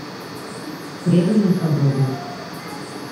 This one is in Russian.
преданный садовник